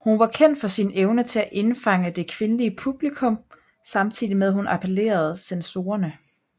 Hun var kendt for sin evne til at indfange det kvindelige publikum samtidig med at hun appellerede censorerne